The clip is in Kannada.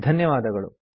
ಧನ್ಯವಾದಗಳು